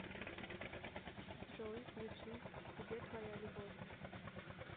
джой ютуб где твоя любовь